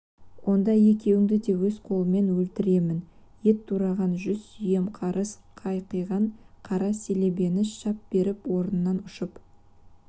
онда екеуіңді өз қолыммен өлтіремін ет тураған жүз сүйем қарыс қайқиған қара селебені шап беріп орынынан ұшып